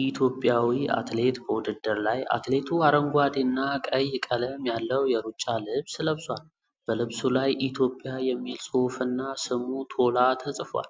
ኢትዮጵያዊ አትሌት በውድድር ላይ አትሌቱ አረንጓዴና ቀይ ቀለም ያለው የሩጫ ልብስ ለብሷል። በልብሱ ላይ "ኢትዮጵያ" የሚል ጽሑፍና ስሙ "ቶላ" ተጽፏል።